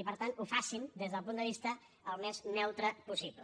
i per tant ho facin des d’un punt de vista el més neutre possible